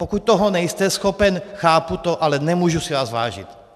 Pokud toho nejste schopen, chápu to, ale nemůžu si vás vážit.